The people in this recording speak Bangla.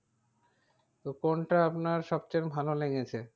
তো কোনটা আপনার সব চেয়ে ভালো লেগেছে?